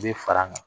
U bɛ fara an kan